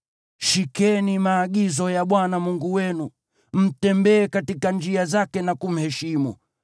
Shikeni maagizo ya Bwana Mungu wenu mtembee katika njia zake na kumheshimu.